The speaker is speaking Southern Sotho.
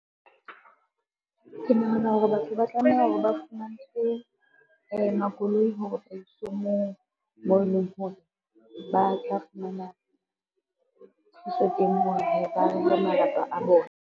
Ke nahana hore batho ba tlameha ba fumantshwe makoloi hore ba iswe moo e leng hore ba tla fumana thuso teng ho re ba rere malapa a bona.